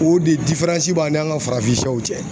O de b'a ni an ka farafin sɛw cɛ